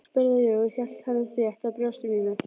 spurði ég og hélt henni þétt að brjósti mínu.